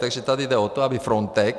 Takže tady jde o to, aby Frontex...